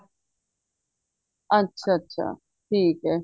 ਅੱਛਾ ਅੱਛਾ ਠੀਕ ਏ